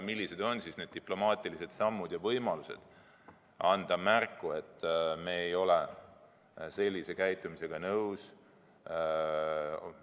Millised on siis need diplomaatilised sammud ja võimalused anda märku, et me ei ole sellise käitumisega nõus?